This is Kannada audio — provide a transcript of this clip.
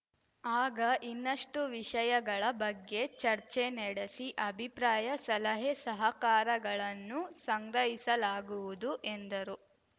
ಆಗ ಇನ್ನಷ್ಟುವಿಷಯಗಳ ಬಗ್ಗೆ ಚರ್ಚೆ ನಡೆಸಿ ಅಭಿಪ್ರಾಯ ಸಲಹೆ ಸಹಕಾರಗಳನ್ನು ಸಂಗ್ರಹಿಸಲಾಗುವುದು ಎಂದರು